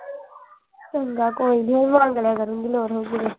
ਚੰਗਾ ਕੋਈ ਨਹੀਂ ਮੰਗ ਲਿਆ ਕਰੂੰਗੀ ਲੋੜ ਹੋਏਗੀ ਤੇ।